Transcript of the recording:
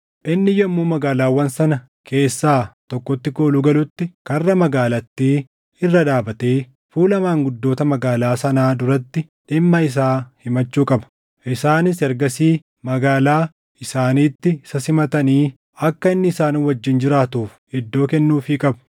Inni yommuu magaalaawwan sana keessaa tokkotti kooluu galutti karra magaalattii irra dhaabatee fuula maanguddoota magaalaa sanaa duratti dhimma isaa himachuu qaba. Isaanis ergasii magaalaa isaaniitti isa simatanii akka inni isaan wajjin jiraatuuf iddoo kennuufii qabu.